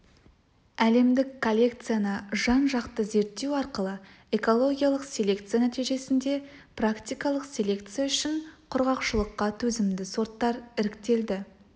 әлемдік коллекцияны жан-жақты зерттеу арқылы экологиялық селекция нәтижесінде практикалық селекция үшін құрғақшылыққа төзімді сорттар іріктелді